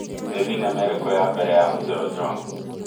nĩ thĩnema ĩrĩkũ ya mbere ya mzee ojwang